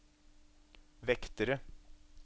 vektere